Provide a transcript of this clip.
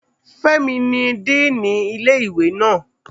Fẹ́mi ni díìnì ilé ìwé naa